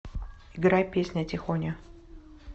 играй песня тихоня